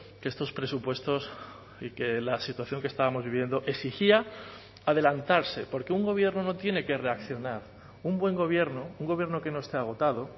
que estos presupuestos y que la situación que estábamos viviendo exigía adelantarse porque un gobierno no tiene que reaccionar un buen gobierno un gobierno que no esté agotado